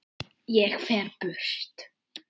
Ég fer burt.